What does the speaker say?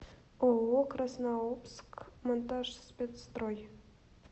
ооо краснообск монтажспецстрой